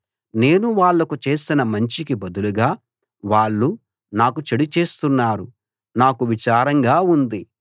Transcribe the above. నేను వాళ్లకు చేసిన మంచికి బదులుగా వాళ్ళు నాకు చెడు చేస్తున్నారు నాకు విచారంగా ఉంది